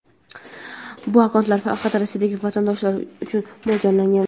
Bu akkauntlar faqat Rossiyadagi vatandoshlar uchun mo‘ljallangan.